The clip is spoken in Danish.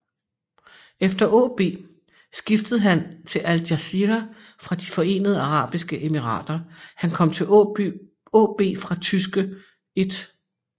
Efter AaB skiftede han til Al Jazira fra de Forenede Arabiske Emirater Han kom til AaB fra tyske 1